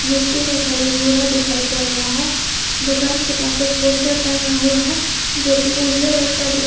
मिट्टी का कलर भूरा दिखाई पड़ रहा है दुकान के पास एक पोस्टर टंगा हुआ है जो की उजले रंग का दिख --